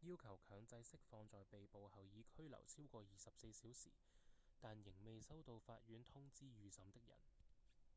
要求強制釋放在被捕後已拘留超過24小時但仍未收到法院通知預審的人